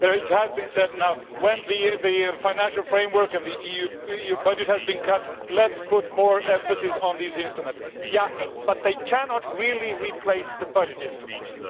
It has been said now, when the Financial Framework and the EU budget has been cut, let us put more emphasis on these instruments'. Yes, but they cannot really replace the budget instruments.